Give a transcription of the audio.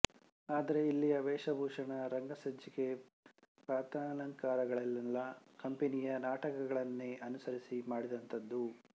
ಆದರೆ ಇಲ್ಲಿಯ ವೇಷಭೂಷಣ ರಂಗಸಜ್ಜಿಕೆ ಪಾತ್ರಾಲಂಕಾರಗಳೆಲ್ಲ ಕಂಪನಿಯ ನಾಟಕಗಳನ್ನೇ ಅನುಕರಿಸಿ ಮಾಡಿದಂಥವು